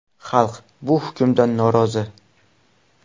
Xalq bu hukmdan norozi.